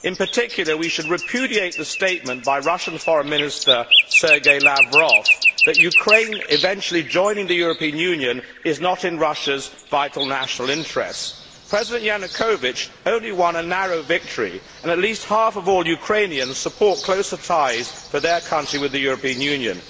In particular, we should repudiate the statement by Russia's Foreign Minister, Sergei Lavrov, that Ukraine eventually joining the European Union is not in Russia's vital national interest. President Yanukovich only won a narrow victory, and at least half of all Ukrainians support closer ties for their country with the European Union